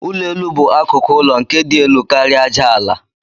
Ụlọ elu bu akụkụ ụlọ nke di elu karia aja ala.